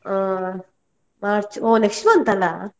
ಹಾ March ಓ next month ಅಲ್ಲ.